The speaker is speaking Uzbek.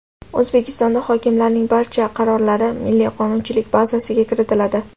O‘zbekistonda hokimlarning barcha qarorlari Milliy qonunchilik bazasiga kiritiladi.